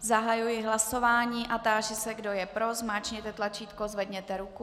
Zahajuji hlasování a táži se, kdo je pro, zmáčkněte tlačítko, zvedněte ruku.